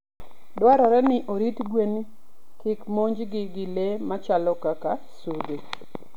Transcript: Dwarore ni orit gwen kik monjgi gi le machalo kaka sudhee.